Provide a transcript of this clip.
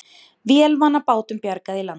Vélarvana bátum bjargað í land